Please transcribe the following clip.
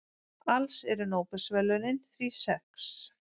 Alls eru Nóbelsverðlaunin því sex.